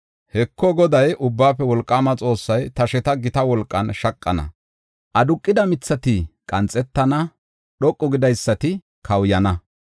Heko, Goday, Ubbaafe Wolqaama Xoossay, tasheta gita wolqan shaqana; aduqida mithati qanxetana; dhoqa gidaysati kawuyana.